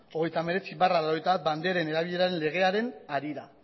hogeita hemeretzi barra mila bederatziehun eta laurogeita bat banderen erabileraren legearen harira